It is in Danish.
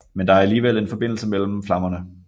Men der er alligevel en forbindelse mellem flammerne